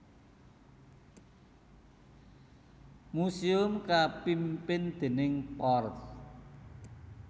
Museum kapimpin déning Porf